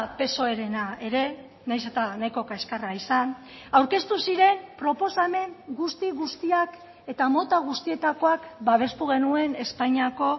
psoerena ere nahiz eta nahiko kaxkarra izan aurkeztu ziren proposamen guzti guztiak eta mota guztietakoak babestu genuen espainiako